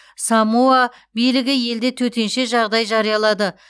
самоа билігі елде төтенше жағдай жариялады